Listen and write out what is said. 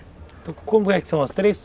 Então como é que são as três?